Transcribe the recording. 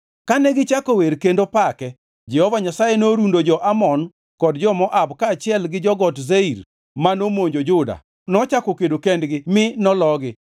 Kane gichako wer kendo pake, Jehova Nyasaye norundogi ma jo-Amon kod jo-Moab kaachiel gi jo-Got Seir manomonjo Juda nochako kedo kendgi giwegi mi nologi.